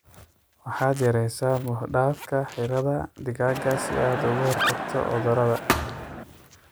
Waxaad yareeysa buux dhaafka xiradhaa digaaga si aad uga hortagto cudurrada.